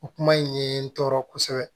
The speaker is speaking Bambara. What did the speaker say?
O kuma in ye n tɔɔrɔ kosɛbɛ